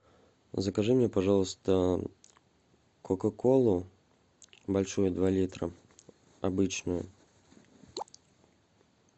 закажи мне пожалуйста кока колу большую два литра обычную